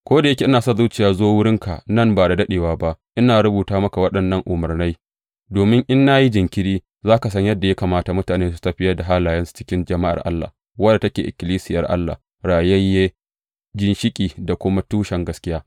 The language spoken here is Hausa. Ko da yake ina sa zuciya zo wurinka nan ba da daɗewa ba, ina rubuta muka waɗannan umarnai domin, in na yi jinkiri, za ka san yadda ya kamata mutane su tafiyar da halayensu a cikin jama’ar Allah, wadda take ikkilisiyar Allah rayayye, ginshiƙi da kuma tushen gaskiya.